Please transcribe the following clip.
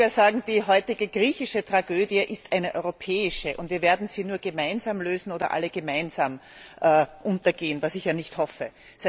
Man könnte sogar sagen, die heutige griechische Tragödie ist eine europäische, und wir werden sie nur gemeinsam lösen oder alle gemeinsam untergehen, was ich nicht hoffe.